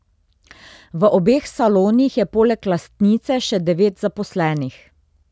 V obeh salonih je poleg lastnice še devet zaposlenih.